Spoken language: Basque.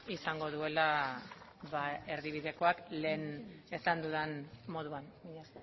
izango duela erdibidekoak lehen esan dudan moduan mila